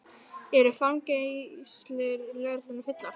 Eru fangageymslur lögreglunnar fullar